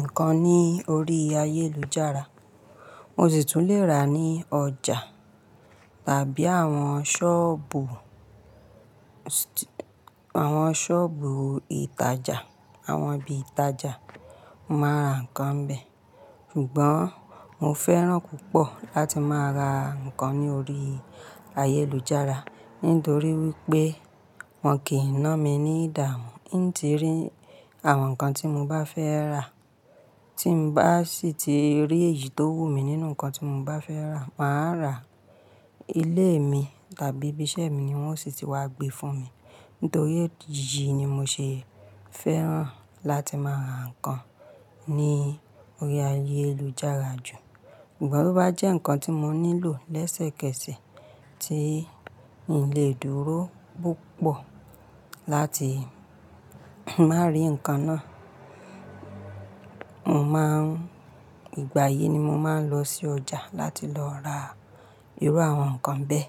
nǹkan ní orí ayélujára, mo sì tún leè ra ní ọjà tàbí àwọn ṣọ́ọ̀bù, àwọn ṣọ́ọ̀bù ìtajà, àwọn ibi ìtajà. Mo máa ń ra nǹkan bẹ́ẹ̀. Sugbọ́n, mo fẹ́ràn púpọ̀ láti máa ra nǹkan ní orí ayélujára. Nítorí wípé wọ́n kì í ná mi ní ìdààmú, n tí rí àwọn nǹkan tí mo bá fẹ́ rà. Tí mo bá sì ti rí èyí tó wù mí nínú nǹkan tí mo bá fẹ́ rà, màá rà á. Ilé mi tàbí ibi iṣẹ́ mi ni wón sì ti wá gbé fún mi. Nítorí yìí ni mo ṣe fẹ́ràn láti máa ra nǹkan ní orí ayélujára jù. Sugbọ̀n to bá jẹ́ nǹkan tí mo nílò lẹ́sẹ̀kẹsẹ̀, tí n lè dúró púpọ̀ láti máa rí nǹkan náà, ìgbà yìí ni mo máa ń lọ sí ọjà láti lọ ra irú àwọn nǹkan bẹ́ẹ̀